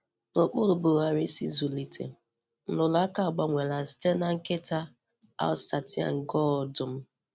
N'okpuru Buhari’s ịzụlite, nrụrụ aka agbanweela site na nkịta Alsatian gaa ọdụm.